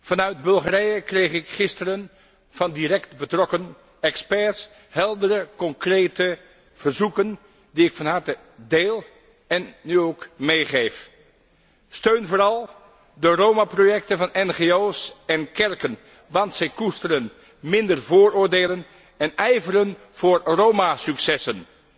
Vanuit Bulgarije kreeg ik gisteren van direct betrokken experts heldere concrete verzoeken die ik van harte deel en u ook meegeef. Een steun vooral de Roma projecten van NGO's en kerken, want zij koesteren minder vooroordelen en ijveren voor Roma successen.